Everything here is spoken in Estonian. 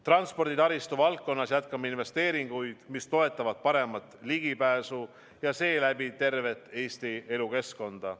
Transporditaristu valdkonnas jätkame investeeringuid, mis toetavad paremat ligipääsu ja seeläbi tervet Eesti elukeskkonda.